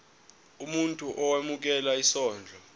umuntu owemukela isondlo